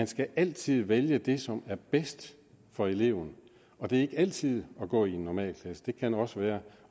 skal altid vælge det som er bedst for eleven og det er ikke altid at gå i en normalklasse det kan også være